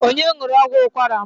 Onye ṅụrụ ọgwụ ụkwara m?